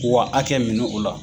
K'u ka hakɛ minɛ o la.